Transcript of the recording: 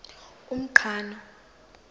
umqhano